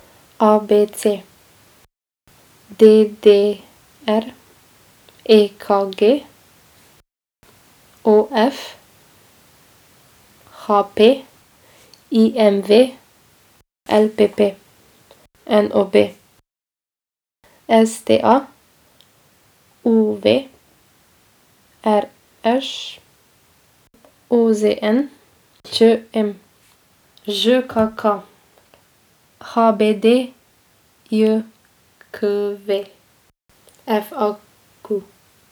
A B C; D D R; E K G; O F; H P; I M V; L P P; N O B; S T A; U V; R Š; O Z N; Č M; Ž K K; H B D J K V; F A Q.